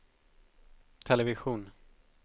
television